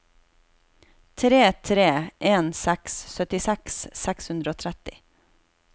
tre tre en seks syttiseks seks hundre og tretti